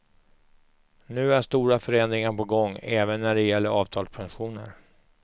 Nu är stora förändringar på gång även när det gäller avtalspensioner.